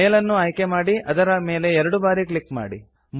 ಮೇಲ್ ಅನ್ನು ಆಯ್ಕೆ ಮಾಡಿ ಅದರ ಮೇಲ್ ಎರಡು ಬಾರಿ ಕ್ಲಿಕ್ ಮಾಡಿ